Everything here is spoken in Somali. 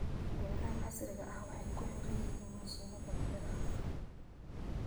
Beeraha casriga ahi waxay ku xidhan yihiin mishiinada beeraha.